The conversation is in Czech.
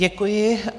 Děkuji.